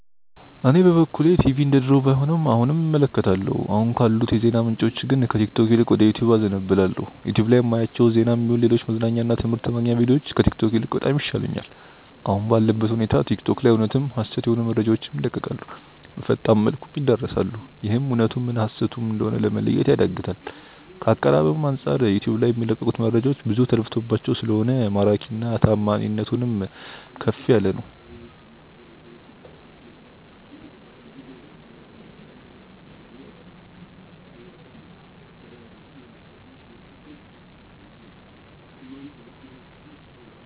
እኔ በበኩሌ ቲቪ እንደድሮው ባይሆንም አሁንም እመለከታለሁ። አሁን ካሉት የዜና ምንጮች ግን ከቲክቶክ ይልቅ ወደ ዩቲዩብ አዘነብላለው። ዩቲዩብ ላይ ማያቸው ዜናም ይሁን ሌሎች መዝናኛ እና ትምህርት ማግኛ ቪድዮዎች ከቲክቶክ ይልቅ በጣም ይሻሉኛል። አሁን ባለበት ሁኔታ ቲክቶክ ላይ እውነትም ሀሰትም የሆኑ መረጃዎች ይለቀቃሉ፣ በፈጣን መልኩም ይዳረሳሉ፤ ይህም እውነቱ ምን ሀሰቱ ም እንደሆነ ለመለየት ያዳግታል። ከአቀራረብም አንጻር ዩቲዩብ ልይ የሚለቀቁት መረጃዎች ብዙ ተለፍቶባቸው ስለሆነ ማራኪና ታማኒነቱም ከፍ ያለ ነው።